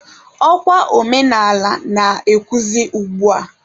Ọ kwa omenaala na-ewuzi ugbua.